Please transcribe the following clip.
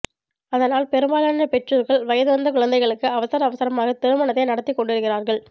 அதனால் பெரும்பாலான பெற்றோர்கள் வயது வந்து குழந்தைகுளுக்கு அவசர அவசரமாகத் திருமணத்தை நடத்திக் கொண்டிருக்கிறார்கள்